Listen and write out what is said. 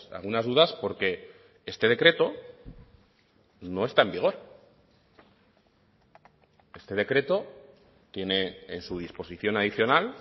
algunas dudas porque este decreto no está en vigor este decreto tiene en su disposición adicional